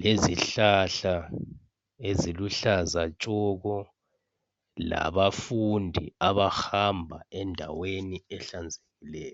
lezihlahla eziluhlaza tshoko, labafundia abahamba endaweni ehlanzekileyo.